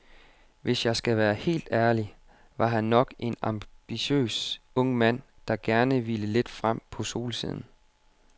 Hvis jeg skal være helt ærlig, var han nok en ambitiøs ung mand, der gerne ville lidt frem på solsiden.